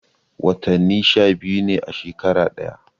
Watani sha biyu ne a shekara daya